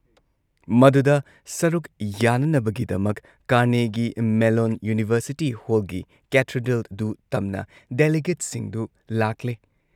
ꯃꯗꯨꯗ ꯁꯔꯨꯛ ꯌꯥꯅꯅꯕꯒꯤꯗꯃꯛ ꯀꯥꯔꯅꯦꯒꯤ ꯃꯦꯜꯂꯣꯟ ꯌꯨꯅꯤꯚꯔꯁꯤꯇꯤ ꯍꯣꯜꯒꯤ ꯀꯦꯊꯦꯗ꯭ꯔꯦꯜꯗꯨ ꯇꯝꯅ ꯗꯦꯂꯤꯒꯦꯠꯁꯤꯡꯗꯨ ꯂꯥꯛꯂꯦ ꯫